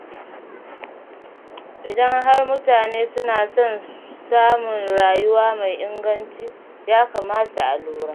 Idan har mutane suna son samun rayuwa mai inganci, ya kamata a lura.